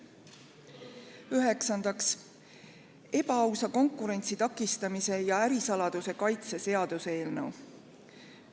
Üheksandaks, ebaausa konkurentsi takistamise ja ärisaladuse kaitse seaduse eelnõu.